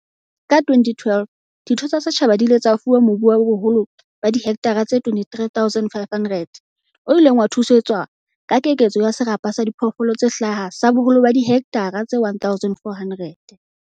Ka 2012, ditho tsa setjhaba di ile tsa fuwa mobu wa boholo ba dihekthara tse 23 500 o ileng wa thusetswa ka keketso ya serapa sa diphoofolo tse hlaha sa boholo ba dihekthara tse 1 400.